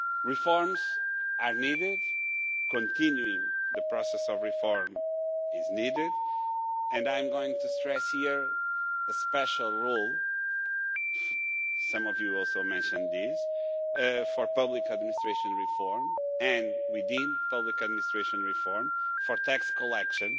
Reforms are needed, continuing the process of reform is needed, and I am going to stress here a special role some of you also mentioned this for public administration reform, and we deem public administration reform for tax collection.